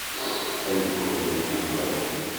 салют сколько денег на вкладе